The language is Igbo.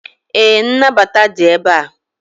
ee, nnabata dị ebe a